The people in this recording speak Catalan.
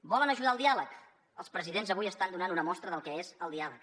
volen ajudar al diàleg els presidents avui estan donant una mostra del que és el diàleg